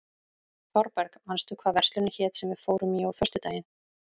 Þorberg, manstu hvað verslunin hét sem við fórum í á föstudaginn?